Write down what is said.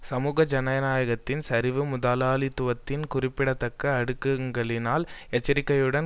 சமூக ஜனநாயகத்தின் சரிவு முதலாளித்துவத்தின் குறிப்பிடத்தக்க அடுக்குகளினால் எச்சரிகையுடன்